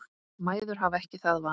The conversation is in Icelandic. Mæður hafa ekki það val.